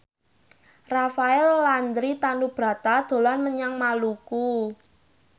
Rafael Landry Tanubrata dolan menyang Maluku